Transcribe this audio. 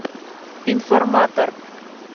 информатор